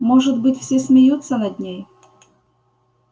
может быть все смеются над ней